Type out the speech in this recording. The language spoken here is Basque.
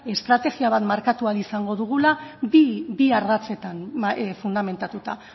estrategia bat markatu ahal izango dugula bi ardatzetan fundamentatuta